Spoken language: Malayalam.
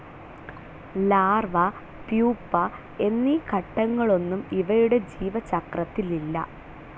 ലാർവ, പുപ എന്നീ ഘട്ടങ്ങളൊന്നും ഇവയുടെ ജീവചക്രത്തിലില്ല.